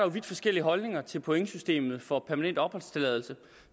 er vidt forskellige holdninger til pointsystemet for permanent opholdstilladelse